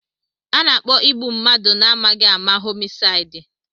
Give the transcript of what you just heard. Ana-akpọ igbu mmadụ na-amaghị ama homisaidi.